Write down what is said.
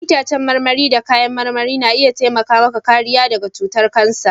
Ya'yan itãcen marmari da kayan marmari na iya taimaka maka kariya daga cutar kansa.